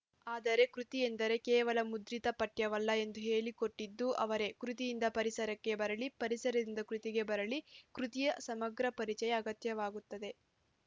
ಆದರೆ ಕೃತಿಯೆಂದರೆ ಕೇವಲ ಮುದ್ರಿತ ಪಠ್ಯವಲ್ಲ ಎಂದು ಹೇಳಿಕೊಟ್ಟುದೂ ಅವರೇ ಕೃತಿಯಿಂದ ಪರಿಸರಕ್ಕೆ ಬರಲಿ ಪರಿಸರದಿಂದ ಕೃತಿಗೆ ಬರಲಿ ಕೃತಿಯ ಸಮಗ್ರ ಪರಿಚಯ ಅಗತ್ಯವಾಗುತ್ತದೆ